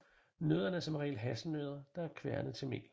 Nødderne er som regel hasselnødder der er kværnet til mel